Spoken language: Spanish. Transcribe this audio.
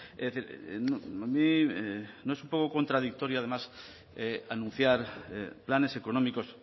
es decir a mí no es un poco contradictorio además anunciar planes económicos